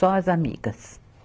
Só as amigas.